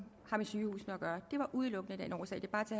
har med sygehusene at gøre det var udelukkende af den årsag det